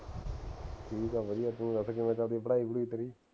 ਠੀਕ ਹੈ ਵਧੀਆ ਤੂੰ ਦੱਸ ਕਿਵੇਂ ਚਲਦੀ ਹੈ ਪੜ੍ਹਾਈ ਪੜੂਈ ਤੇਰੀ